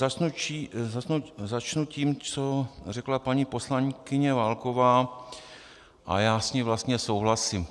Začnu tím, co řekla paní poslankyně Válková, a já s ní vlastně souhlasím.